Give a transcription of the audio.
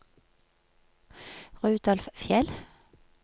Rudolf Fjeld